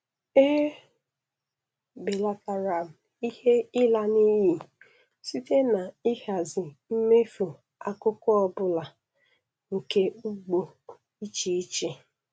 E belatara m ihe ịla n'iyi site na ịhazi mmefu akụkụ ọ bụla nke ugbo, iche iche